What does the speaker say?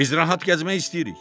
Biz rahat gəzmək istəyirik.